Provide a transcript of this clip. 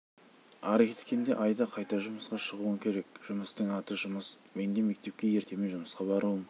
ары кеткенде айда қайта жұмысқа шығуың керек жұмыстың аты жұмыс мен де мектепке ертемен жұмысқа баруым